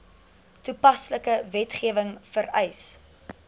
toepaslike wetgewing vereis